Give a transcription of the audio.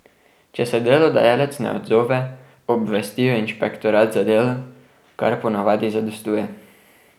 Če se delodajalec ne odzove, obvestijo inšpektorat za delo, kar po navadi zadostuje.